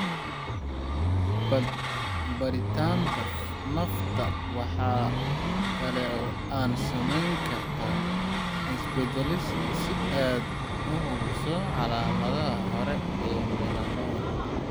Baadhitaanada Nafta Waxa kale oo aad samayn kartaa is-baadhis si aad u hubiso calaamadaha hore ee melanoma.